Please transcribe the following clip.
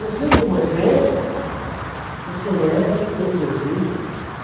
Eu sei que você... Eu conheço o teu serviço.